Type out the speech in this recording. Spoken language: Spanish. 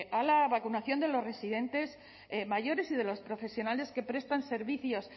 a la vacunación de los residentes mayores y de los profesionales que prestan servicios